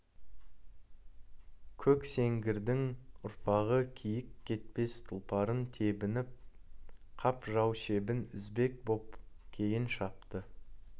көксеңгірдің ұрпағы киіккетпес тұлпарын тебініп қап жау шебін үзбек боп кейін шапты